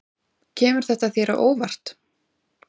Kemur þetta þér á óvart?